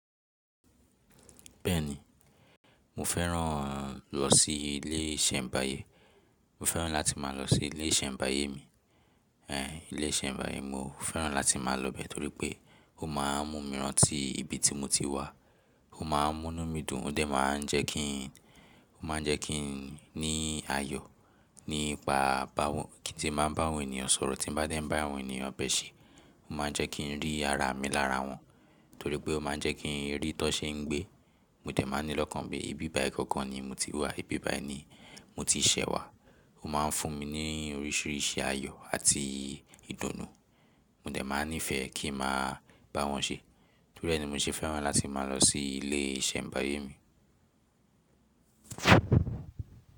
Bẹ́ẹ̀ni, mo fẹ́ràn lọ sí ilé ìṣẹ̀mbáyé. Mo fẹ́ràn láti máa lọ sí ilé ìṣẹ̀mbáyé mi. Èhè, ilé ìṣẹ̀mbáyé mo fẹ́ràn láti máa lọ bẹ́ẹ̀ torí pé ó má a mú mi rán tí ibi tí mo ti wá. Ó ma mú inù mí dùn, ó dẹ̀ ma n jẹ́ kí n, ó ma jẹ́ kí n ní ayọ̀ nípa báwọn, kí n tí máa bá àwọn ènìyàn sọ̀rọ̀. Tí bá dé bá àwọn ènìyàn bẹ̀ ṣe, ó ma jẹ́ kí n rí ara mi lára wọn, torí pé ó ma jẹ́ kí n rí tó ṣe ń gbé. Mo dẹ̀ máa ní lọ́kàn pé ìbí báì kankan ni mo ti wá, ìbí báì ni mo ti ṣẹ̀ wá. Ó ma ń fún mi ní oríṣiríṣi ayọ̀ àti ìdùnnú. Mo dẹ̀ ma ní ìfẹ́ kí n máa bá wọn ṣe. Torí ẹ̀ ni mo ṣe fẹ́ràn láti máa lọ sí ilé ìṣẹ̀mbáyé mi.